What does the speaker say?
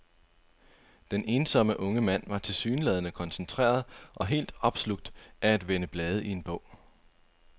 Den ensomme unge mand var tilsyneladende koncentreret og helt opslugt af at vende blade i en bog.